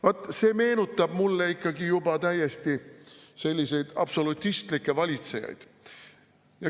" Vaat see meenutab mulle ikka juba täiesti selliseid absolutistlikke valitsejaid.